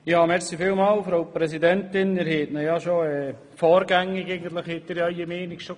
Sie haben Ihre Meinungen zu diesem Antrag bereits vorgängig bekannt gegeben.